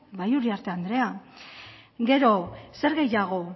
bai uriarte andrea gero zer gehiago